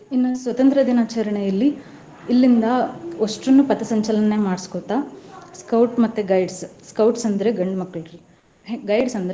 ಇನ್ನೂ ಸ್ವತಂತ್ರ್ಯ ದಿನಾಚರಣೆಯಲ್ಲಿ ಇಲ್ಲಿಂದಾ ಒಸ್ಟೂರ್ನೂ ಪಥಸಂಚಲನೆ ಮಾಡ್ಸ್ಕೋತ Scout ಮತ್ತೆ Guides, Scouts ಅಂದ್ರೆ ಗಂಡ್ಮಕ್ಳು. Guides ಅಂದ್ರೆ.